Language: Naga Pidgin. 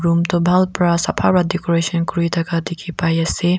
umm toh bhal pra sapa pa decorations kurithaka dikhipaiase.